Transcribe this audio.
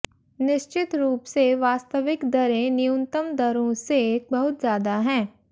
निश्चित रूप से वास्तविक दरें न्यूनतम दरों से बहुत ज्यादा हैं